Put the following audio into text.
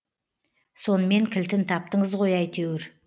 сонымен кілтін таптыңыз ғой әйтеуір